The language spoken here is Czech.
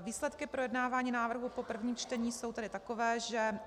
Výsledky projednávání návrhu po prvním čtení jsou tedy takové, že